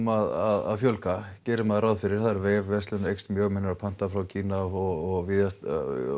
að fjölga gerir maður ráð fyrir vefverslun aukist um mjög menn eru að panta frá Kína og